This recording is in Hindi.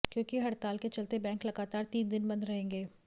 क्योंकि हड़ताल के चलते बैंक लगातार तीन दिन बंद रहेंगे